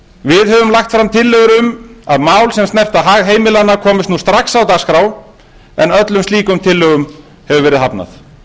við höfum lagt fram tillögur um að mál sem snerta hag heimilanna komist nú strax á dagskrá en öllum slíkum tillögum hefur verið hafnað